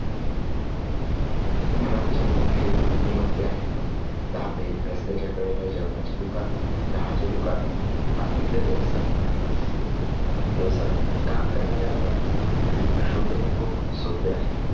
मुलांचे मोठ्या नियुक्त्या आहेत. धाबे रस्त्याच्या कड्याला जेवणाची दुकाने, चहाची दुकाने आणि इतर व्यवसायात काम करणाऱ्या मुलांना शोधणे खूपच सोपे आहे.